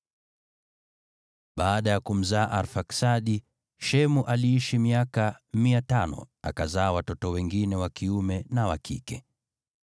Baada ya kumzaa Arfaksadi, Shemu aliishi miaka 500, akazaa watoto wengine wa kiume na wa kike.